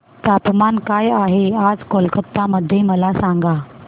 तापमान काय आहे आज कोलकाता मध्ये मला सांगा